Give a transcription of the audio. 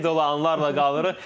Sevgi dolu anlarla qalırıq.